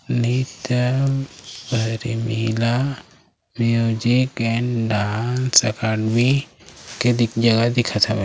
Music and dance academy के जगह दिखत हावे।